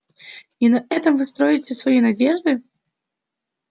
и на этом вы строите свои надежды